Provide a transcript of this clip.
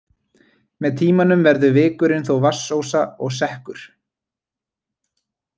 Með tímanum verður vikurinn þó vatnsósa og sekkur.